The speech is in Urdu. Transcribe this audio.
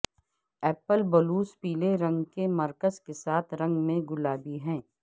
ایپل بلوس پیلے رنگ کے مرکز کے ساتھ رنگ میں گلابی ہے